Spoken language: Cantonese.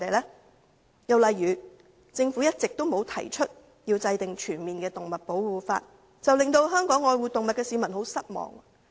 另一例子是，政府一直沒有提出制定全面的保護動物法，令愛護動物的香港市民十分失望。